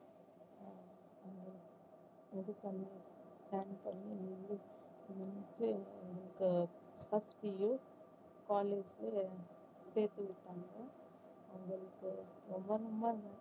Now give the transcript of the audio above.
plan பண்ணி H P U காலேஜ்ல சேத்து விட்டாங்க அவங்களுக்கு ரொம்ப ரொம்ப நன்றி